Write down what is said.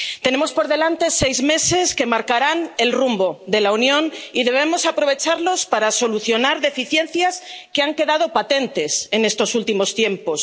Tenemos por delante seis meses que marcarán el rumbo de la Unión y debemos aprovecharlos para solucionar deficiencias que han quedado patentes en estos últimos tiempos.